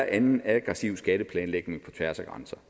anden aggressiv skatteplanlægning på tværs af grænser